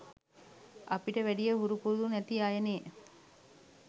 අපිට වැඩිය හුරු පුරුදු නැති අයනෙ.